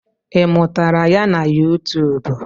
I mụtara ya na yụtụụbụ?